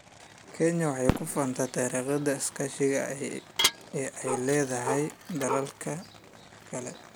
Kenya waxay ku faantaa taariikhdeeda iskaashi ee ay la leedahay dalalka kale.